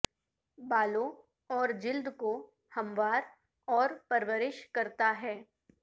بالوں اور جلد کو ہموار اور پرورش کرتا ہے